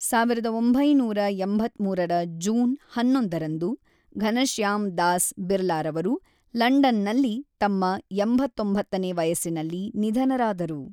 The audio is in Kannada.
ಸಾವಿರದ ಒಂಬೈನೂರ ಎಂಬತ್ತ್ಮೂರರ ಜೂನ್ ಹನ್ನೊಂದರಂದು ಘನಶ್ಯಾಮ್ ದಾಸ್ ಬಿರ್ಲಾರವರು ಲಂಡನ್‌ನಲ್ಲಿ ತಮ್ಮ ಎಂಬತ್ತೊಂಬತ್ತನೇ ವಯಸ್ಸಿನಲ್ಲಿ ನಿಧನರಾದರು.